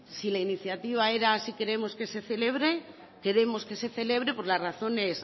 si la iniciativa era si queremos que se celebre queremos que se celebre por las razones